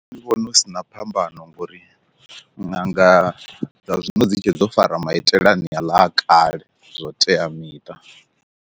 Nṋe ndi vhona hu sina phambano ngori ṅanga dza zwino dzi tshe dzo fara maitele ane a ḽa a kale zwa u tea miṱa.